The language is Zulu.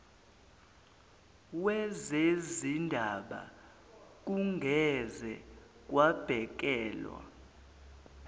wezezindaba kungeze kwabhekelwa